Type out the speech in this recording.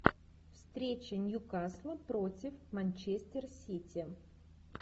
встреча нью касла против манчестер сити